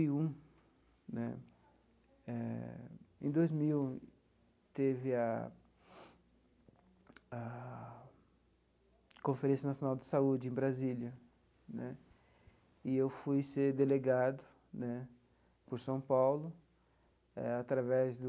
E um né eh em dois mil teve a a Conferência Nacional de Saúde em Brasília né e eu fui ser delegado né por São Paulo eh através do